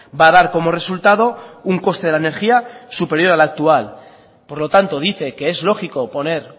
va a dar como resultado un coste de la energía superior al actual por lo tanto dice que es lógico poner